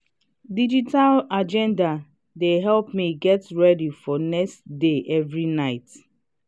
digital agenda dey help me get ready for next day every night.